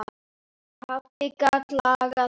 Pabbi gat lagað allt.